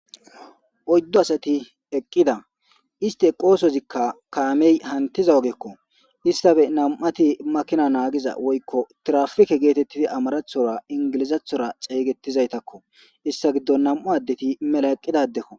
Oyddo asati eqqida iste qoosozikka kaamey hantiza ogekko issafe nam7ati makina naagiza woykko trafike geetettidi amarathora ingilizathora xeygettizaytakko issa giddo nam'u addeti mela eqqidadekko.